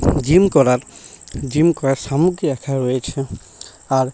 Gym করার gym করার সামগ্রী রাখা রয়েছে আর।